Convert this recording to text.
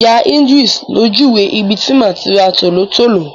Ìyá Ìdris ló júwe ibi tí màá tí ra tòlótòló.